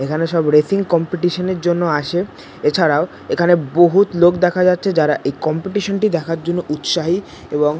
এখানে সব racing competition জন্য আসে এছাড়াও এখানে বহুৎ লোক দেখা যাচ্ছে যারা এই কম্পিটিশন -টি দেখার জন্য উৎসাহী এবং--